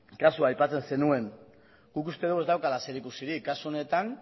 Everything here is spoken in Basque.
kasua aipatzen zenuen guk uste dugu ez daukala zerikusirik kasu honetan